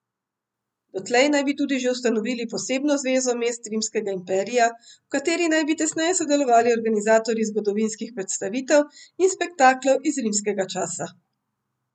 Dotlej naj bi tudi že ustanovili posebno zvezo mest rimskega imperija, v kateri naj bi tesneje sodelovali organizatorji zgodovinskih predstavitev in spektaklov iz rimskega časa.